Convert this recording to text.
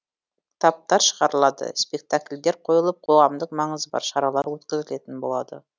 кітаптар шығарылады спектакльдер қойылып қоғамдық маңызы бар шаралар өткізілетін болады